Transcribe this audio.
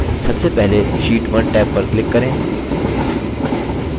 सबसे पहले sheet 1 tab पर click करें